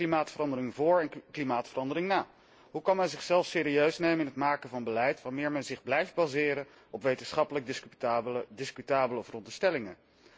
Het is klimaatverandering voor en klimaatverandering na. Hoe kan men zichzelf serieus nemen in het maken van beleid, wanneer men zich blijft baseren op wetenschappelijk discutabele veronderstellingen?